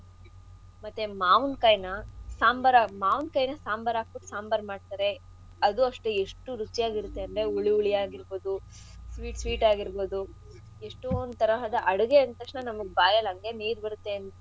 ಮತ್ತೇ ಮಾವಿನ್ ಕಾಯ್ನ ಸಾಂಬಾರ್ ಆಗ್ ಮಾವಿನ್ ಕಾಯ್ನ ಸಾಂಬಾರ್ ಹಾಕ್ಬುಟ್ ಸಾಂಬಾರ್ ಮಾಡ್ತರೆ ಅದು ಅಷ್ಟೇ ಎಷ್ಟು ರುಚಿಯಾಗಿರತ್ತೆ ಅಂದ್ರೆ ಹುಳಿ ಹುಳಿ ಆಗಿರ್ಬೋದು ಸ್ sweet sweet ಆಗಿರ್ಬೋದು ಎಷ್ಟೋಂದ್ ತರಹದ ಅಡುಗೆ ಅಂದ್ತಕ್ಷಣ ಬಾಯಲ್ಲಿ ನೀರ್ ಬರುತ್ತೆ.